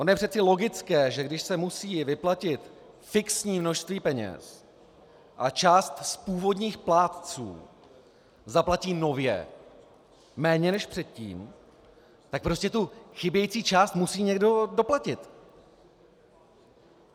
Ono je přece logické, že když se musí vyplatit fixní množství peněz a část z původních plátců zaplatí nově méně než předtím, tak prostě tu chybějící část musí někdo doplatit.